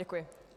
Děkuji.